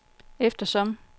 eftersom